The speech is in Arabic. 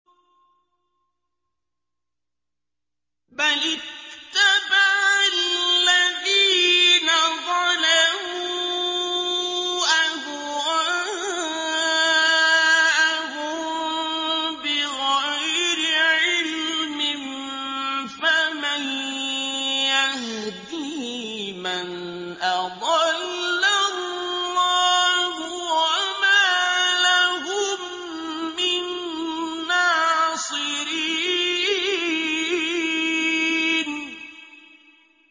بَلِ اتَّبَعَ الَّذِينَ ظَلَمُوا أَهْوَاءَهُم بِغَيْرِ عِلْمٍ ۖ فَمَن يَهْدِي مَنْ أَضَلَّ اللَّهُ ۖ وَمَا لَهُم مِّن نَّاصِرِينَ